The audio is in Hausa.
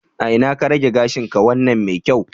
A ina ka rage gashinka wannan mai kyau?